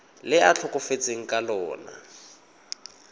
le a tlhokafetseng ka lona